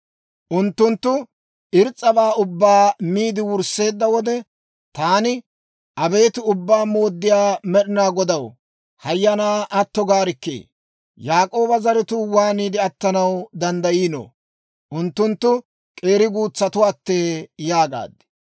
Unttunttu irs's'abaa ubbaa miide wursseedda wode taani, «Abeet Ubbaa Mooddiyaa Med'inaa Godaw, hayyanaa atto gaarikkii! Yaak'ooba zaratuu waaniide attanaw danddayiino? Unttunttu k'eeri guutsattuwaattee!» yaagaad.